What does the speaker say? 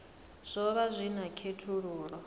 zwo vha zwi na khethululoe